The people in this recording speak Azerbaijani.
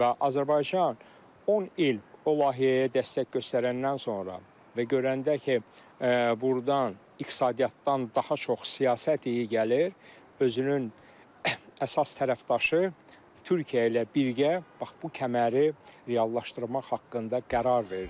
Və Azərbaycan 10 il o layihəyə dəstək göstərəndən sonra və görəndə ki, burdan iqtisadiyyatdan daha çox siyasət iyi gəlir, özünün əsas tərəfdaşı Türkiyə ilə birgə bax bu kəməri reallaşdırmaq haqqında qərar verdi.